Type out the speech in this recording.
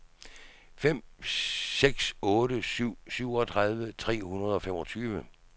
fem seks otte syv syvogtredive tre hundrede og femogtyve